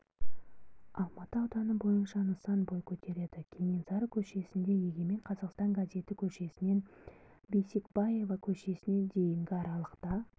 алматы ауданы бойынша нысан бой көтереді кенесары көшесінде егемен қазақстан газеті көшесінен бейсекбаева көшесіне дейінгі аралықта